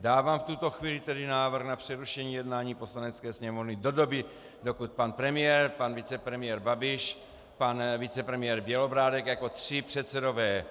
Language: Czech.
Dávám v tuto chvíli tedy návrh na přerušení jednání Poslanecké sněmovny do doby, dokud pan premiér, pan vicepremiér Babiš, pan vicepremiér Bělobrádek jako tři předsedové